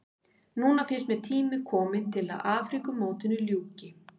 Núna finnst mér tími kominn til að Afríkumótinu ljúki.